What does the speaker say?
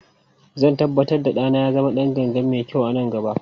Zan tabbatar da ɗana ya zama ɗan ganga mai kyau a nan gaba.